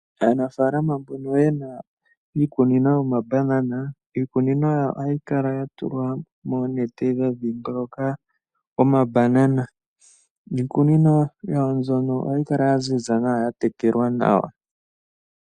Aanafalama mbono yena iikunino yomaBanana, iikunino ohayi kala ya tolwa moonete dha dhingoloka omaBanana . Niikunino yawo mbyono ohayi kala ya ziza nawa ya tekelwa nawa.